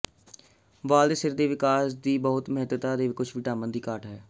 ਵਾਲ ਦੇ ਸਿਰ ਦੇ ਵਿਕਾਸ ਲਈ ਬਹੁਤ ਮਹੱਤਤਾ ਦੇ ਕੁਝ ਵਿਟਾਮਿਨ ਦੀ ਘਾਟ ਹੈ